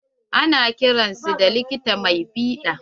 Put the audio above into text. Ana kiran su da likita mai fiɗa.